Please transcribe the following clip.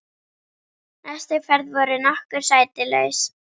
næstu ferð voru nokkur sæti laus.